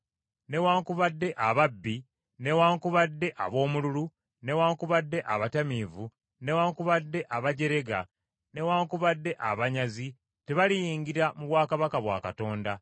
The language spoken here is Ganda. newaakubadde ababbi, newaakubadde aboomululu, newaakubadde abatamiivu, newaakubadde abajerega, newaakubadde abanyazi tebaliyingira mu bwakabaka bwa Katonda.